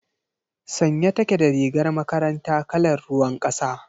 Sanye take da rigar makaranta kalar ruwan kasa.